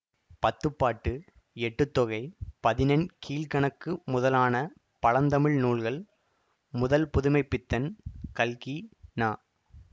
பத்துப்பாட்டு Ettuthokai Pathinenkilkanakku முதலான பழந்தமிழ் நூல்கள் முதல் புதுமை பித்தன் கல்கி ந